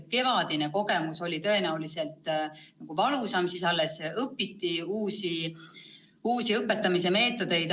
Kevadine kogemus oli tõenäoliselt valusam, siis alles õpiti uusi õpetamismeetodeid.